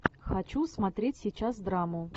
хочу смотреть сейчас драму